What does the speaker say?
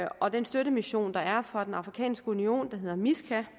og den støttemission der er fra den afrikanske union der hedder misca